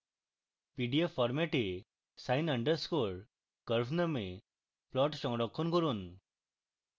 pdf format এ sin underscore curve name plot সংরক্ষণ করুন